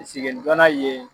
Sigɛnni joona ye